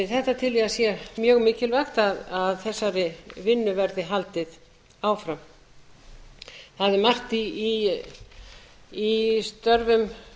þetta tel ég að sé mjög mikilvægt að þessari vinnu verði haldið áfram það er margt í störfum